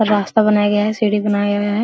रास्ता बनाया गया है सीढ़ी बनाया है।